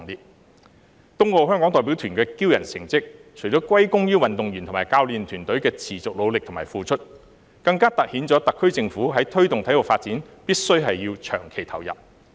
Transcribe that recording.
東京奧運會香港代表團的驕人成績，除了歸功於運動員和教練團隊的持續努力和付出，更突顯了特區政府在推動體育發展上必須要長期投入。